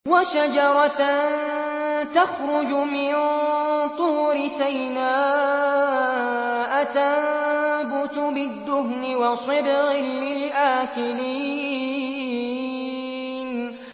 وَشَجَرَةً تَخْرُجُ مِن طُورِ سَيْنَاءَ تَنبُتُ بِالدُّهْنِ وَصِبْغٍ لِّلْآكِلِينَ